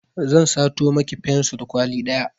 Zan sato miki fensur kwali ɗaya